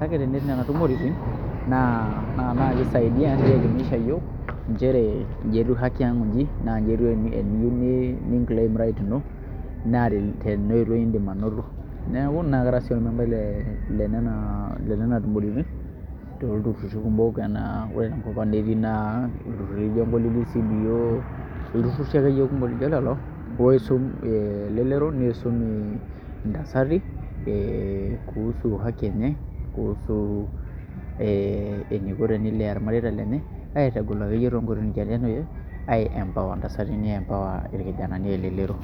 kake tenetii nena tumoreitin naa kisaidia nielemisha iyiook nchere inji etiu haki ang' onji naa inji etiu eninclaim right ino naa tenaoitoi iindim anoto, neeku naa kara sii ormembai lenena tumoritin olturruri ore tenkop naa ang' naa ketii ilturruri lijio CBO, ilturruri akeyie kumok lijio lelo oisum ee elelero niisum ntasati ee kuhusu haki enye kuhusu ee eniko tenilea irmareita lenye aitagol akeyie toonkoitoi nijio nena arashu aiempower ntasati niempower irkijanani aa elelero.